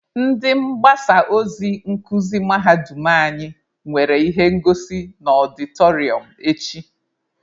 Ndị mgbasa ozi nkuzi mahadum anyị nwere ihe ngosi na ọdịtọrịọm echi.